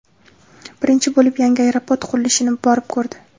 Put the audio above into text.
Birinchi bo‘lib yangi aeroport qurilishini borib ko‘rdi.